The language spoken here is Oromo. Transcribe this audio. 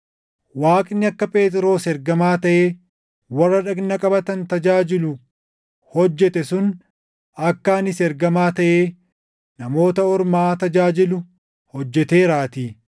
Waaqni akka Phexros ergamaa taʼee warra dhagna qabatan tajaajilu hojjete sun akka anis ergamaa taʼee Namoota Ormaa tajaajilu hojjeteeraatii.